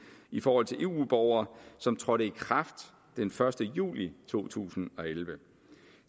i forhold til eu borgere som trådte i kraft den første juli to tusind og elleve